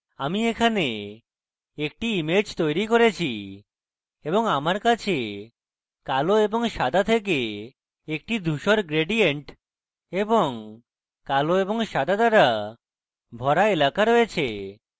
আমি এখানে একটি image তৈরী করেছি এবং আমার কাছে কালো এবং সাদা থেকে একটি ধুসর gradient এবং কালো এবং সাদা দ্বারা ভরা এলাকা রয়েছে